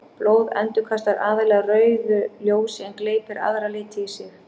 Blóð endurkastar aðallega rauðu ljósi en gleypir aðra liti í sig.